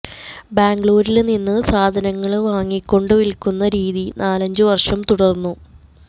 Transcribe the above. ബാംഗ്ലൂരില് നിന്നു സാധനങ്ങള് വാങ്ങിക്കൊണ്ടു വില്ക്കുന്ന രീതി നാലഞ്ചു വര്ഷം തുടര്ന്നു